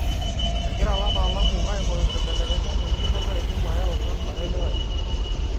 Egira lataalamu aing'uraa nkibelekenyat tenjung'ore naidm aayau kansa elewaisho.